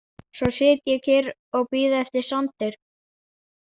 Svo sit ég kyrr og bíð eftir Sander.